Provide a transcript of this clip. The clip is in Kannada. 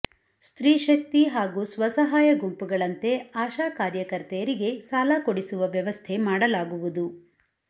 ಸ್ತ್ರೀಶಕ್ತಿ ಹಾಗೂ ಸ್ವಸಹಾಯ ಗುಂಪುಗಳಂತೆ ಆಶಾ ಕಾರ್ಯಕರ್ತೆಯರಿಗೆ ಸಾಲ ಕೊಡಿಸುವ ವ್ಯವಸ್ಥೆ ಮಾಡಲಾಗುವುದು